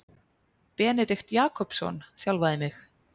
Benedikt Jakobsson þjálfaði mig.